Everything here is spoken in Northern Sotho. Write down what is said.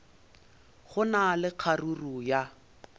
go na le kgaruru ya